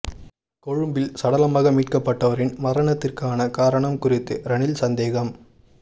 கொழும்பில் சடலமாக மீட்கப்பட்டவரின் மரணத்திற்கான காரணம் குறித்து ரணில் சந்தேகம்